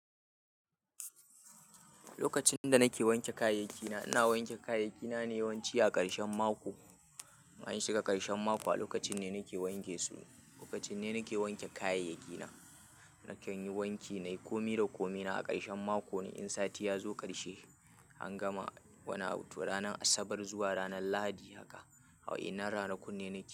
Lokacin da nake wanke kayayyaki na, ina wanke kayayyaki na yawanci a ƙarshen mako. Anyi shiga ƙarshen mako a lokacin ne nake wanke su. Lokacin ne nake wanke kayayyaki na. Nakan yi wanki na yi komi da komi na a ƙarshen mako ne in sati ya zo ƙarshe, an gama wani abu to ranar Asabar zuwa ranar Lahadi haka. Awai ina rana kunne nake.